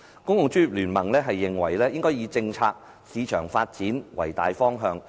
公共專業聯盟認為應以政策、市場發展為大方向。